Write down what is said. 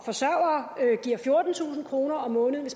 forsørgere giver fjortentusind kroner om måneden